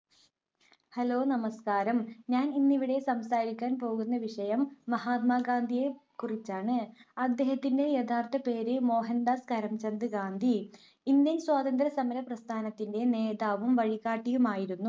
Hello നമസ്ക്കാരം ഞാൻ ഇന്ന് ഇവിടെ സംസാരിക്കാൻ പോകുന്ന വിഷയം മഹാത്മാഗാന്ധിയെ കുറിച്ചാണ്. അദ്ദേഹത്തിന്റെ യഥാർത്ഥ പേര് മോഹൻ‌ദാസ് കരംചന്ദ് ഗാന്ധി. ഇന്ത്യൻ സ്വാതന്ത്ര്യസമര പ്രസ്ഥാനത്തിന്റെ നേതാവും വഴികാട്ടിയുമായിരുന്നു.